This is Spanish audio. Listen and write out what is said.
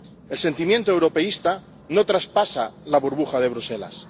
El sentimiento europeísta no traspasa la burbuja de Bruselas.